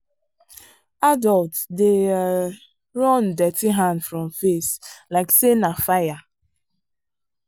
adults dey um run dirty hand from face like say na fire.